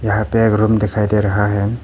यहां पर एक रूम दिखाई दे रहा है।